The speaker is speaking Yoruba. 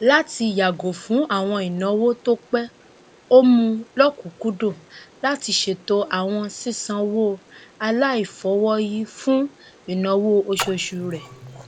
látì yàgò fún àwọn ìnáwó tó pé ó mú lọkùnkúndùn láti ṣètò àwọn sísanwó aláìfọwọyí fún ináwó oṣooṣu rẹ